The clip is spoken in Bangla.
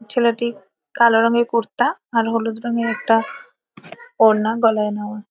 ছেলেটি কালো রঙের কুর্তা আর হলুদ রঙের একটা ওড়না গলায় নেওয়া ।